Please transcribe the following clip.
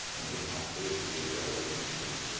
15-16 Qəbələli məşqçi deməkdir.